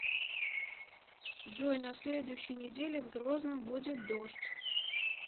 джой на следующей неделе в грозном будет дождь